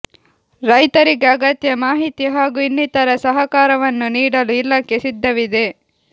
ರೈತರಿಗೆ ಅಗತ್ಯ ಮಾಹಿತಿ ಹಾಗೂ ಇನ್ನಿತರ ಸಹಕಾರವನ್ನು ನೀಡಲು ಇಲಾಖೆ ಸಿದ್ಧವಿದೆ